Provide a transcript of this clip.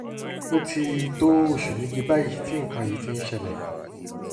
ó ti tó oṣù méje báyìí tí nǹkan yìí ti ń ṣẹlẹ̀